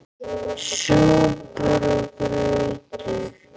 SÚPUR OG GRAUTAR